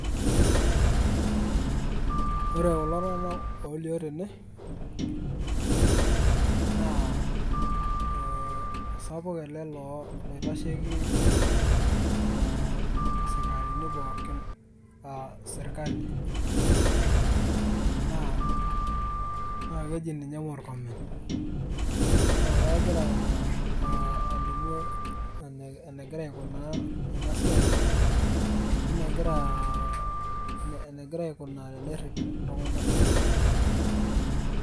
Ore kulo tung'anak olio tene, naa eh osapuk ele loo loitasheki eh isikarini pookin la sirkali. Naa keji ninye Murkomen. Na kegira alimu enegira aikunaa enasiai ene gira aikunaa tenerrip iltung'anak.